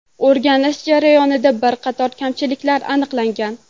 O‘rganish jarayonida bir qator kamchiliklar aniqlangan.